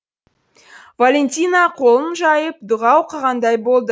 валентина қолын жайып дұға оқығандай болды